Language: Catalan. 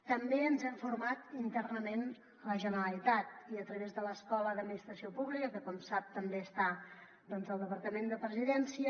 també ens hem format internament a la generalitat i a través de l’escola d’administració pública que com sap també està al departament de la presidència